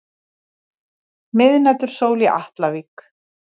Miðnætursól í Atlavík.